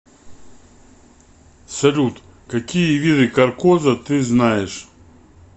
салют какие виды каркоза ты знаешь